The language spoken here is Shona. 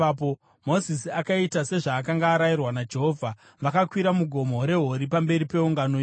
Mozisi akaita sezvaakanga arayirwa naJehovha: Vakakwira muGomo reHori pamberi peungano yose.